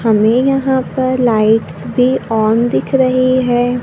हमें यहां पर लाइट्स भी ऑन दिख रही है।